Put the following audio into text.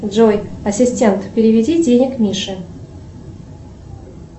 джой ассистент переведи денег мише